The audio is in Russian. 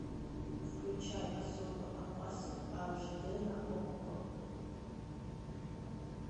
включай особо опасен аш д на окко